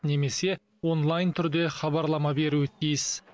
немесе онлайн түрде хабарлама беруі тиіс